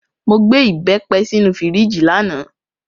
Mo gbé ìbẹ́pẹ sínú fíríjì lánàá.